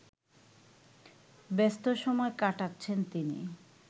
ব্যস্ত সময় কাটাচ্ছেন তিনি